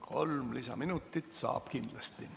Kolm lisaminutit saab kindlasti.